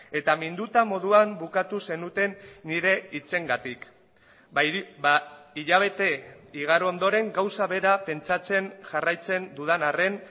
eta minduta moduan bukatu zenuten nire hitzengatik hilabete igaro ondoren gauza bera pentsatzen jarraitzen dudan arren